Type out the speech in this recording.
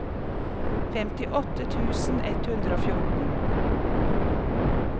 femtiåtte tusen ett hundre og fjorten